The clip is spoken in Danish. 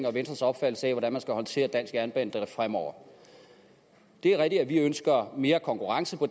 og venstres opfattelse af hvordan man skal håndtere dansk jernbanedrift fremover det er rigtigt at vi ønsker mere konkurrence på